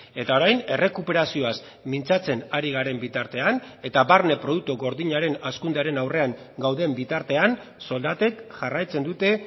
eta orain errekuperazioaz mintzatzen ari garen bitartean eta barne produktu gordinaren hazkundearen aurrean gauden bitartean soldatek jarraitzen dute